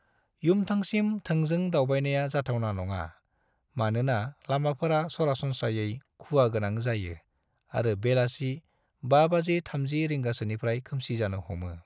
युमथांसिम थोंजों दावबायनाया जाथावना नङा, मानोना लामाफोरा सरासनस्रायै खुवागोनां जायो आरो बेलासि 5:30 रिंगासोनिफ्रायनो खोमसि जानो हमो।